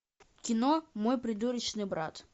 кино мой придурочный брат